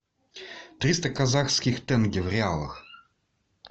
триста казахских тенге в реалах